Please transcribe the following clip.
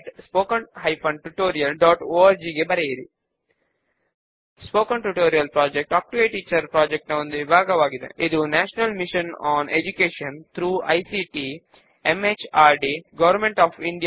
spoken tutorial అనేది talk to a teacher అనే project లో ఒక భాగము దీనికి ఐసీటీ ఎంహార్డీ భారత ప్రభుత్వము ద్వారా నేషనల్ మిషన్ ఆన్ ఎడ్యుకేషన్ సహకారం అందిస్తోంది